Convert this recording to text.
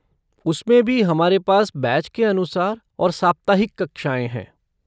उसमें भी हमारे पास बैच के अनुसार और साप्ताहिक कक्षाएँ हैं।